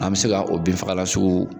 An be se ga o binfagalan sugu